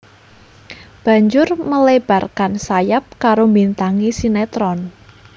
Banjur melebarkan sayap karo mbintangi sinetron